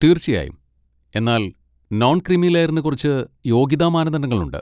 തീർച്ചയായും! എന്നാൽ non creamy ലെയറിന് കുറച്ച് യോഗ്യതാ മാനദണ്ഡങ്ങളുണ്ട്.